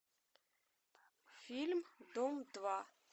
фильм дом два